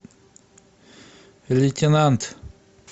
лейтенант